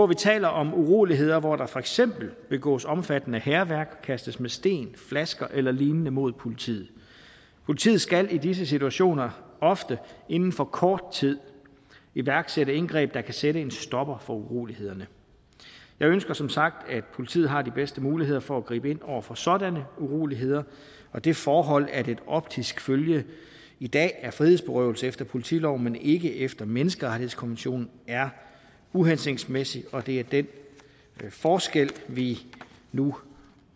vi taler om uroligheder hvor der for eksempel begås omfattende hærværk kastes med sten flasker eller lignende mod politiet politiet skal i disse situationer ofte inden for kort tid iværksætte indgreb der kan sætte en stopper for urolighederne jeg ønsker som sagt at politiet har de bedste muligheder for at gribe ind over for sådanne uroligheder og det forhold at et optisk følge i dag er frihedsberøvelse efter politiloven men ikke efter menneskerettighedskonventionen er uhensigtsmæssigt og det er den forskel vi nu